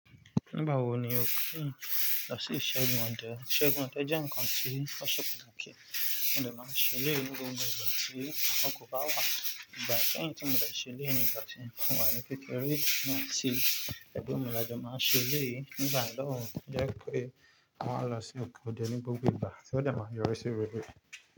Nígbà wo ni o kéyin lọ sí Isẹgun ode? Isẹgun ode jẹ́ nǹkan tí ó ṣe patakí mo dẹ̀ máa n ṣe eléyi ni gbogbo ìgbà tí akọ́kọ́ bá wà. Ìgbà kẹ́hìn tí mo dẹ̀ ṣeléyi ní ìgbà tí mo wà ní kekeré. Emi àtí ẹ̀gbon mi lajọ máa n ṣeleyi nígbà náà ló jẹ́ pé á maa lọ sí oko òde ní gbogbo ìgbà tí wọ́n dẹ̀ máa yọ̀ri sí rerẹ̀